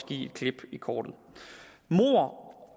give et klip i kortet mord